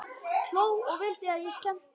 Hló og vildi að ég skemmti mér.